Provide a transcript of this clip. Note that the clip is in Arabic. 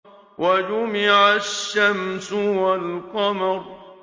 وَجُمِعَ الشَّمْسُ وَالْقَمَرُ